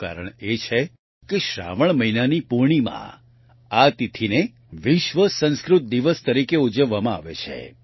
તેનું કારણ એ છે કે શ્રાવણ મહિનાની પૂર્ણિમા આ તિથીને વિશ્વ સંસ્કૃત દિવસ તરીકે ઉજવવામાં આવે છે